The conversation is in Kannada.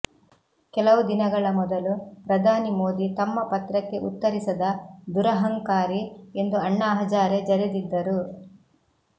ಕೆಲವು ದಿನಗಳ ಮೊದಲು ಪ್ರಧಾನಿ ಮೋದಿ ತಮ್ಮ ಪತ್ರಕ್ಕೆ ಉತ್ತರಿಸದ ದುರಹಂಕಾರಿ ಎಂದು ಅಣ್ಣಾ ಹಜಾರೆ ಜರೆದಿದ್ದರು